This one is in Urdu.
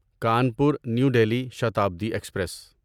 Kanpur New Delhi Shatabdi express